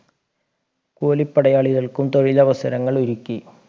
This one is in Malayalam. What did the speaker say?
കൂലി പടയാളികൾക്കും തൊഴിലവസരങ്ങൾ ഒരുക്കി